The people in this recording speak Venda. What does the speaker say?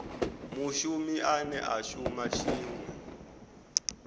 mushumi ane a shuma tshiṅwe